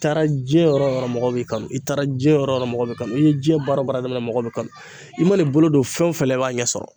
I taara jiyɛn yɔrɔ o yɔrɔ mɔgɔ bɛ kanu i taara jiyɛn yɔrɔ o yɔrɔ mɔgɔ bɛ kanu i ni jiyɛn baara o baara dɔrɔn mɔgɔ bɛ kanu i mana bolo don fɛn o fɛn la i b'a ɲɛ sɔrɔ.